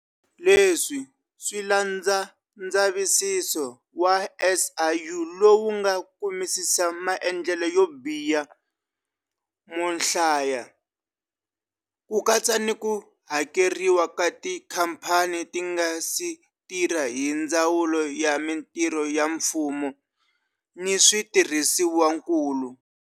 Leswi swi landza ndzavisiso wa SIU lowu nga kumisisa maendlelo yo biha mohlaya, ku katsa ni ku hakeriwa ka tikhamphani ti nga si tirha hi Ndzawulo ya Mitirho ya Mfumo ni Switirhisiwa nkulu.